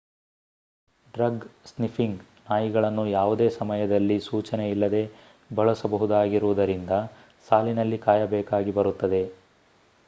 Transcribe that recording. drug-sniffing ನಾಯಿಗಳನ್ನು ಯಾವುದೇ ಸಮಯದಲ್ಲಿ ಸೂಚನೆ ಇಲ್ಲದೆ ಬಳಸಬಹುದಾಗಿರುವುದರಿಂದ ಸಾಲಿನಲ್ಲಿ ಕಾಯಬೇಕಾಗಿ ಬರುತ್ತದೆ